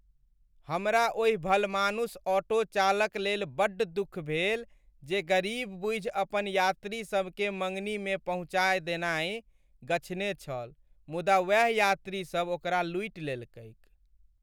हमरा ओहि भलमानुस ऑटो चालक लेल बड्ड दुख भेल जे गरीब बूझि अपन यात्री सबकेँ मङ्गनीमे पहुँचा देनाइ गछने छल मुदा वैह यात्रीसब ओकरा लूटि लेलकैक।